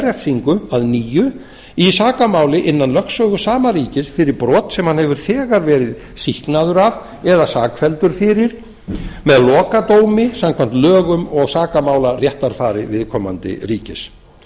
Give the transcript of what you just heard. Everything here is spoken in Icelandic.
refsingu að nýju í sakamáli innan lögsögu sama ríkis fyrir brot sem hann hefur þegar verið sýknaður af eða sakfelldur fyrir með lokadómi samkvæmt lögum og sakamálaréttarfari viðkomandi ríkis